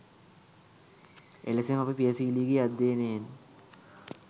එලෙසම අපි පියසීලිගේ අධ්‍යයනයෙන්